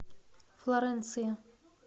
флоренция